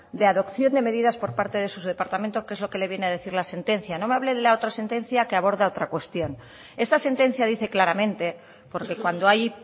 de adopción de medidas por parte de su departamento que es lo que le viene a decir la sentencia no me hable de la otra sentencia que aborda otra cuestión esta sentencia dice claramente porque cuando hay